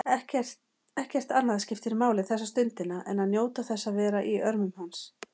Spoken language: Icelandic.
Ekkert annað skiptir máli þessa stundina en njóta þess að vera í örmum hans.